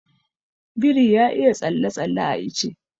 Biri ya iya tsalle-tsalle a ice.